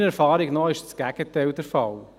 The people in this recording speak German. Meiner Erfahrung nach ist das Gegenteil der Fall.